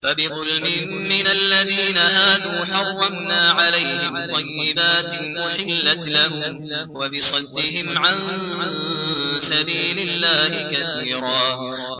فَبِظُلْمٍ مِّنَ الَّذِينَ هَادُوا حَرَّمْنَا عَلَيْهِمْ طَيِّبَاتٍ أُحِلَّتْ لَهُمْ وَبِصَدِّهِمْ عَن سَبِيلِ اللَّهِ كَثِيرًا